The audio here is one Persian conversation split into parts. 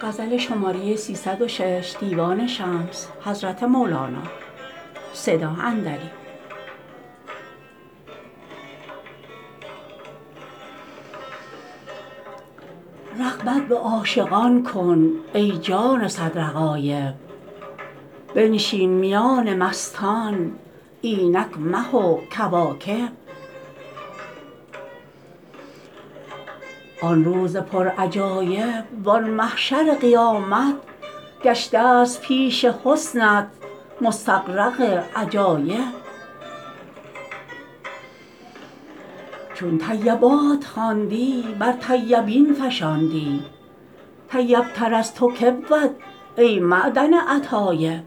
رغبت به عاشقان کن ای جان صدر غایب بنشین میان مستان اینک مه و کواکب آن روز پرعجایب وان محشر قیامت گشته ست پیش حسنت مستغرق عجایب چون طیبات خواندی بر طیبین فشاندی طیب تر از تو کی بود ای معدن اطایب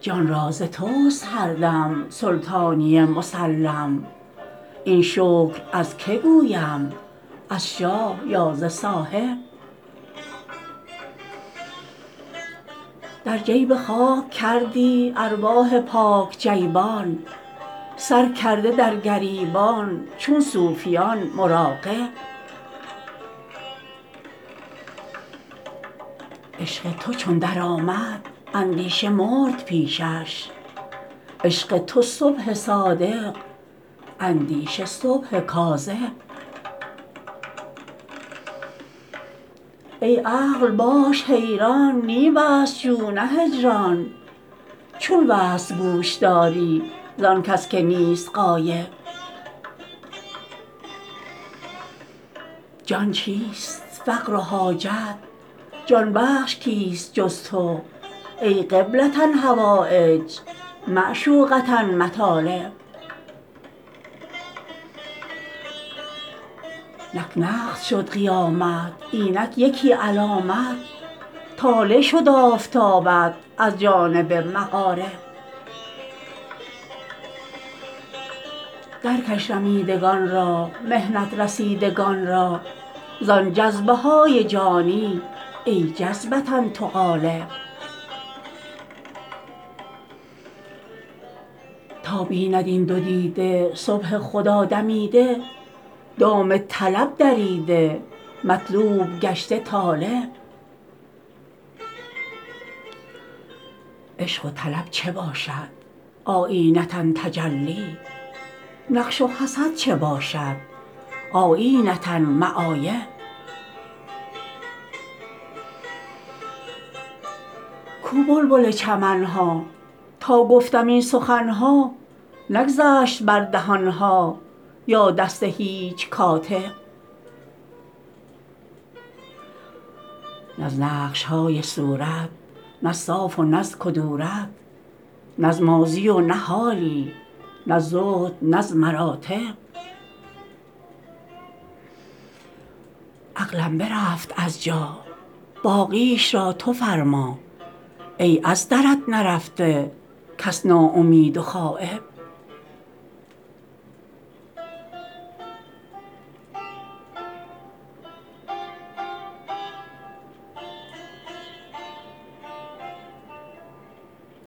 جان را ز تست هر دم سلطانیی مسلم این شکر از کی گویم از شاه یا ز صاحب در جیب خاک کردی ارواح پاک جیبان سر کرده در گریبان چون صوفیان مراقب عشق تو چون درآمد اندیشه مرد پیشش عشق تو صبح صادق اندیشه صبح کاذب ای عقل باش حیران نی وصل جو نه هجران چون وصل گوش داری زان کس که نیست غایب جان چیست فقر و حاجت جان بخش کیست جز تو ای قبله حوایج معشوقه مطالب نک نقد شد قیامت اینک یکی علامت طالع شد آفتابت از جانب مغارب درکش رمیدگان را محنت رسیدگان را زان جذبه های جانی ای جذبه تو غالب تا بیند این دو دیده صبح خدا دمیده دام طلب دریده مطلوب گشته طالب عشق و طلب چه باشد آیینه تجلی نقش و حسد چه باشد آیینه معایب کو بلبل چمن ها تا گفتمی سخن ها نگذشت بر دهان ها یا دست هیچ کاتب نه از نقش های صورت نه از صاف و نه از کدورت نه از ماضی و نه حالی نه از زهد نه از مراتب عقلم برفت از جا باقیش را تو فرما ای از درت نرفته کس ناامید و غایب